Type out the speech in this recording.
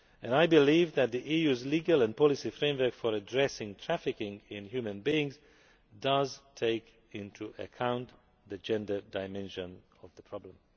I believe that the EU's legal and policy framework for addressing trafficking in human beings does take into account the gender dimension of the problem.